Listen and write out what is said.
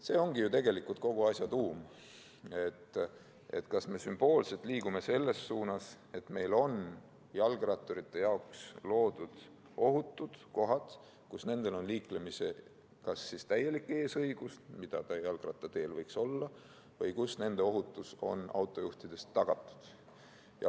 See ongi ju tegelikult kogu asja tuum, kas me sümboolselt liigume selles suunas, et meil on jalgratturite jaoks loodud ohutud kohad, kus nendel on liiklemiseks täielik eesõigus, nagu jalgrattateel võiks olla, või kus nende ohutus on autojuhtide tagatud.